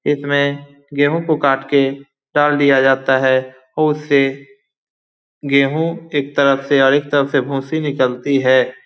इस में गेहूं को काट के डाल दिया जाता है | उस से गेहू एक तरफ से अधिक तरफ से भोंसी निकलती है ।